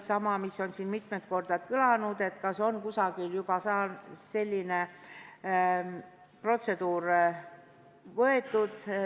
Ja siis küsiti veel kord selle kohta, kas kusagil on selline protseduur juba kehtestatud.